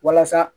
Walasa